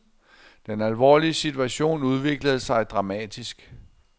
Den alvorlige situation udviklede sig dramatisk.